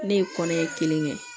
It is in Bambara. Ne ye kɔnɔɲɛ kelen kɛ